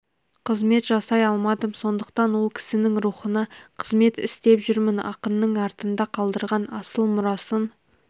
қызмет жасай алмадым сондықтан ол кісінің рухына қызмет істеп жүрмін ақынның артында қалдырған асыл мұрасын